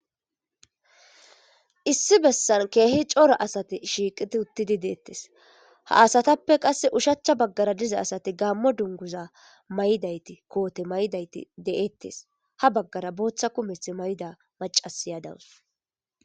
Issi bessan keehi cora asati shiiqidi uttidi deettes. Ha asatappe qasse ushachcha baggara diza asati gaammo dunguza may7dayti koote maydayti deetes. Ha baggara booththa kumethi mayida macasiya dawus.